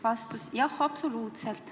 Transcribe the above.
" Vastus: "Jah, absoluutselt."